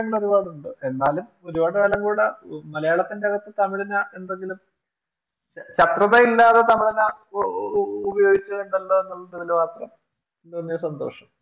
ഒരുപാടുണ്ട് എന്നാലും ഒരുപാടുകാലം കൂടെ മലയാളത്തിന്റെ അകത്തു തമിഴിനെ എന്തെങ്കിലും ശത്രുത ഇല്ലാതെ തമിഴനെ ഉപയോഗിച്ചു എന്നുള്ളതിലൊരു മാത്രം വലിയ ഒരു സന്തോഷം